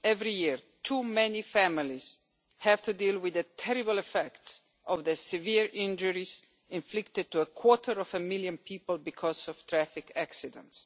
Every year, too many families have to deal with the terrible effects of the severe injuries inflicted to a quarter of a million people because of traffic accidents.